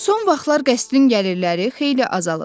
Son vaxtlar qəsrin gəlirləri xeyli azalıb.